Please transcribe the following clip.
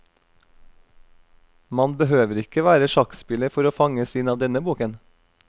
Man behøver ikke være sjakkspiller for å fanges inn av denne boken.